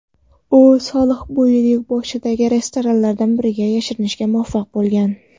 U sohilbo‘yining boshidagi restoranlardan biriga yashirinishga muvaffaq bo‘lgan.